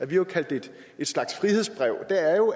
vi har kaldt en slags frihedsbrev